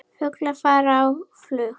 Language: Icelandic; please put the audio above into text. Fuglar fara á flug.